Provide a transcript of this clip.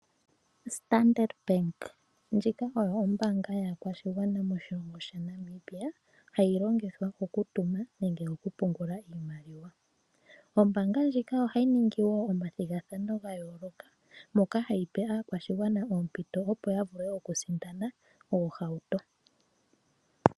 Standard ndjika oyo ombaanga yaakwashigwana moshilongo shaNamibia hayi longithwa okutuma nenge okupungula iimaliwa. Ombaanga ndjika ohayi ningi woo oma thigathano gayooloka moka hayi pe aakwashigwana oompito opo yavule okusindana oohauto.